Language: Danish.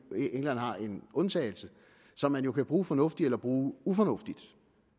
england har en undtagelse som man jo kan bruge fornuftigt eller bruge ufornuftigt